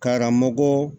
Karamɔgɔ